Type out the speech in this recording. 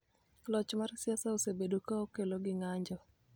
Loch mar siasa osebedo ka okelo gi ng�anjo